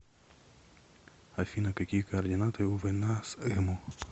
афина какие координаты у война с эму